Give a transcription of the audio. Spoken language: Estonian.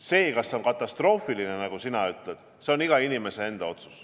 See, kas see on katastroofiline, nagu sina ütled, on iga inimese enda otsus.